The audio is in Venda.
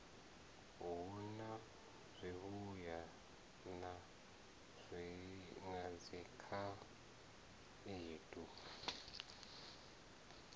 hu na zwivhuya na dzikhaedu